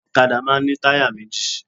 Òkadá máa n ní táyà méjì